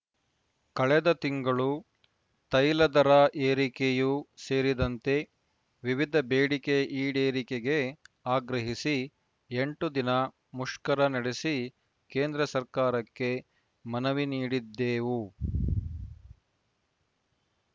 ಕಳೆದ ತಿಂಗಳು ತೈಲ ದರ ಏರಿಕೆಯೂ ಸೇರಿದಂತೆ ವಿವಿಧ ಬೇಡಿಕೆ ಈಡೇರಿಕೆಗೆ ಆಗ್ರಹಿಸಿ ಎಂಟು ದಿನ ಮುಷ್ಕರ ನಡೆಸಿ ಕೇಂದ್ರ ಸರ್ಕಾರಕ್ಕೆ ಮನವಿ ನೀಡಿದ್ದೇವು